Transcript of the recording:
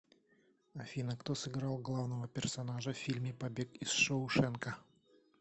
афина кто сыграл главного персонажа в фильме побег из шоушенка